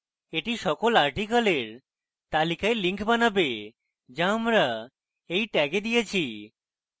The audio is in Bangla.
এটি সকল articles তালিকায় links বানাবে যা আমরা এই tags দিয়েছি